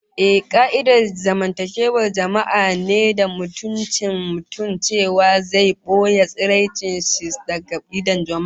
Ehh, ka'idar zamantakewar jama'a ne da mutuncin mutum, cewa kowa zai boye tsaraicin sa daga idon jama'a